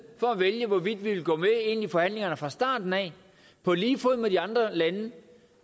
for at vælge hvorvidt vi vil gå med ind i forhandlingerne fra starten af på lige fod med de andre lande